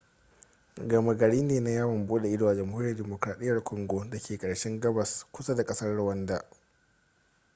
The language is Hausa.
goma gari ne na yawon bude ido a jamhuriyar demokradiyyar congo da ke ƙarshen gabas kusa da ƙasar rwanda